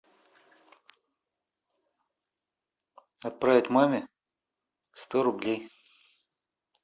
отправить маме сто рублей